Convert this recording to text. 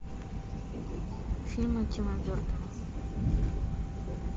фильмы тима бертона